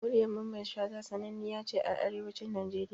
Muryar mamman Shata sananniya ce a Arewacin Nigeria